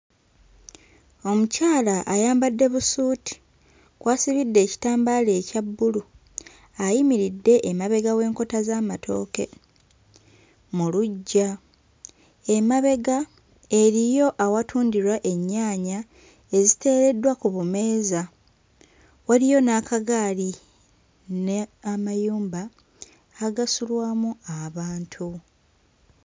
Omukyala ayambadde busuuti kw'asibidde ekitambaala ekya bbulu ayimiridde emabega w'enkota z'amatooke mu luggya. Emabega eriyo watundirwa ennyaanya eziteereddwa ku bumeeza waliyo n'akagaali ne amayumba agasulwamu abantu.